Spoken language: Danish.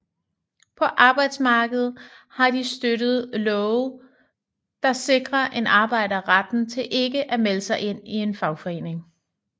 På arbejdsmarkedet har de støttet love der sikrer en arbejder retten til ikke at melde sig ind i en fagforening